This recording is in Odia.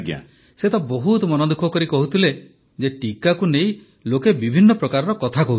ପ୍ରଧାନମନ୍ତ୍ରୀ ସେ ତ ବହୁତ ମନଦୁଃଖ କରି କହୁଥିଲେ ଯେ ଟିକାକୁ ନେଇ ଲୋକ ବିଭିନ୍ନ ପ୍ରକାର କଥା କହୁଛନ୍ତୁ